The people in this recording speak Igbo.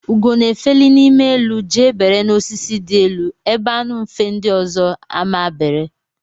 Ugo na efeli n'ime elu jee bere n'osisi di elu ebe anu mfe ndi ọzọ ama bere.